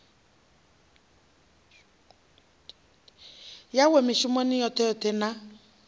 yawe mishumoni yoṱhe yoṱhe na